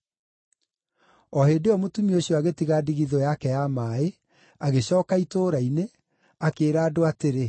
O hĩndĩ ĩyo mũtumia ũcio agĩtiga ndigithũ yake ya maaĩ, agĩcooka itũũra-inĩ, akĩĩra andũ atĩrĩ,